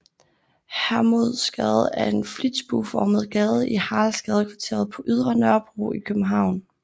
Hermodsgade er en flitsbueformet gade i Haraldsgadekvarteret på Ydre Nørrebro i København